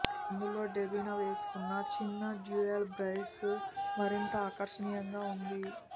అందులో డెబీనా వేసుకున్నచిన్న dual braids మరింత ఆకర్షణీయంగా వుంది